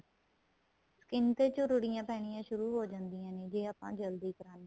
skin ਤੇ ਝੂੜੀਆਂ ਪੈਣੀਆਂ ਸ਼ੁਰੂ ਹੋ ਜਾਂਦੀਆਂ ਨੇ ਜ਼ੇ ਆਪਾਂ ਜਲਦੀ ਕਰਾਨੇ ਹਾਂ